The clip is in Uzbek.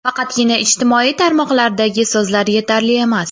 Faqatgina ijtimoiy tarmoqlardagi so‘zlar yetarli emas.